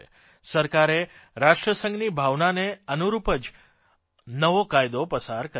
સરકારે રાષ્ટ્રસંઘની ભાવનાને અનૂરૂપ જ નવો કાયદો પસાર કર્યો છે